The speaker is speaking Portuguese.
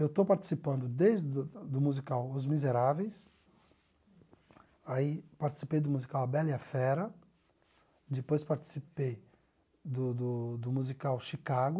Eu estou participando desde do do musical Os Miseráveis, aí participei do musical A Bela e a Fera, depois participei do do do musical Chicago,